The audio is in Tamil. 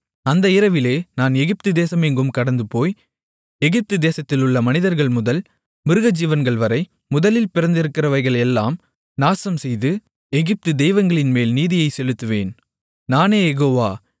அந்த இரவிலே நான் எகிப்து தேசம் எங்கும் கடந்துபோய் எகிப்து தேசத்திலுள்ள மனிதர்கள்முதல் மிருகஜீவன்கள்வரை முதலில் பிறந்திருக்கிறவைகளையெல்லாம் நாசம்செய்து எகிப்து தெய்வங்களின்மேல் நீதியைச் செலுத்துவேன் நானே யெகோவா